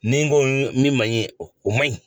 Ni n ko min man ɲi o man ɲi